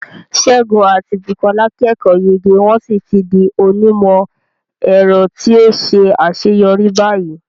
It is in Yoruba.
Segun àti Bukola kẹ́kọ̀ọ́ yege wọ́n sì ti di onímọ̀-ẹ̀rọ tí ó ṣe àṣeyọrí báyìí.